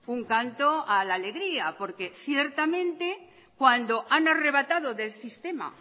un canto a la alegría porque ciertamente cuando han arrebatado del sistema